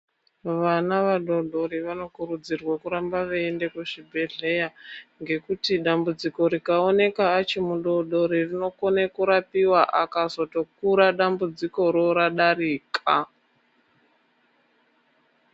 Vana vadodori vanokurudzirwa kuramba veienda kuzvibhedhlera ngekuti dambudziko rikaoneka achiri mudodori rinokone kurapika akazotokura dambudziko ra radarika .